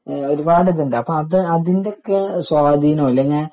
ഒരുപാട് ഇതുണ്ട് അപ്പൊ അതിന്റെ ഒക്കെ സ്വാധീനം ഇല്ലെങ്കി